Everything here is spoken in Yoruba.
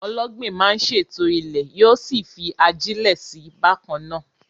Ọlọ́gbìn máa ń ṣètò ilẹ̀, yóò sì fi ajílẹ̀ sí i bákan náà.